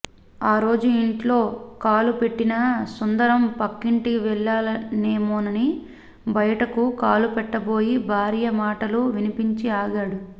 ఆరోజూ ఇంట్లో కాలు పెట్టిన సుందరం పక్కింటికి వెళ్లానేమోనని భయటకు కాలుపెట్టబోయి భార్య మాటలు వినిపించి ఆగాడు